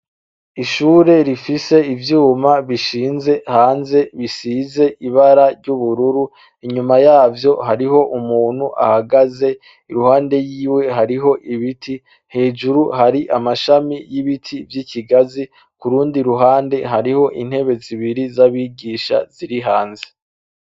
Ishure rifise ivyuma bishize hanze bisize ibara ry'ubururu, inyuma yavyo hariho umuntu ahagaze, iruhande yiwe hariyo ibiti, hejuru hari amashami y'ibiti vy'ikigazi, kurundi ruhande hariho intebe zibiri z'abigisha ziri hanze?